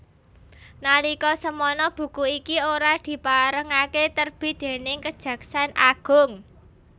Nalika semana buku iki ora diparengaké terbit déning Kejaksan Agung